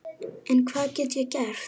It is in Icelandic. En hvað get ég gert?